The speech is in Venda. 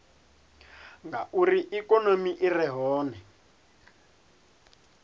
ngauri ikonomi i re hone